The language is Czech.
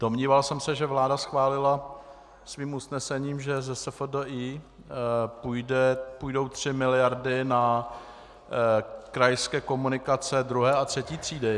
Domníval jsem se, že vláda schválila svým usnesením, že ze SFDI půjdou tři miliardy na krajské komunikace druhé a třetí třídy.